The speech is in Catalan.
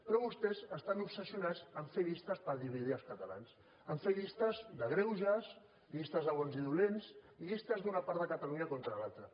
però vostès estan obsessionats a fer llistes per dividir els catalans a fer llistes de greuges llistes de bons i dolents llistes d’una part de catalunya contra l’altra